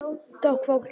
Fólki er órótt.